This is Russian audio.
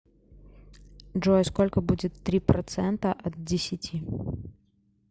джой сколько будет три процента от десяти